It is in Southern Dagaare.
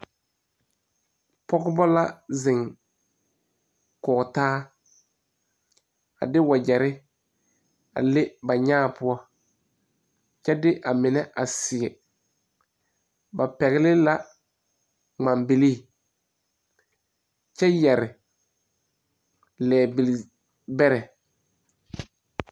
Pogeba la zeŋ kɔge taa. A de wagyere a le ba nyaa poʊ. Kyɛ de a meneva seɛ. Ba pɛgle la ŋman bilii kyɛ yɛre lie bili bɛre